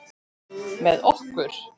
Með okkur?